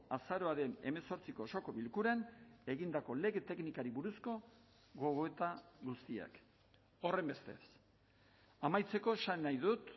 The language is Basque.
azaroaren hemezortziko osoko bilkuran egindako lege teknikari buruzko gogoeta guztiak horrenbestez amaitzeko esan nahi dut